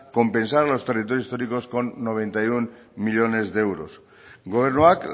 compensar a los territorios históricos con noventa y uno millónes de euros gobernuak